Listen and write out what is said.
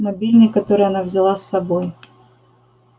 мобильный который она взяла с собой